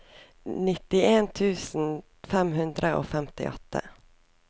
nittien tusen fem hundre og femtiåtte